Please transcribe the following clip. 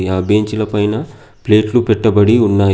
ఆ బెంచీల పైన ప్లేట్లు పెట్టబడి ఉన్నాయి.